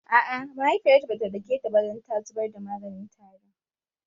A'a mahaifiyarta bata dake ta ba dan ta zubar da maganin tarin